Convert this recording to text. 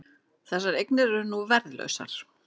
Þessar eignir eru nú verðlausar